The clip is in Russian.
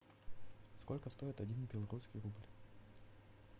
сколько стоит один белорусский рубль